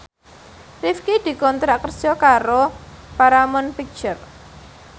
Rifqi dikontrak kerja karo Paramount Picture